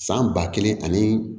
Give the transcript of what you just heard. San ba kelen ani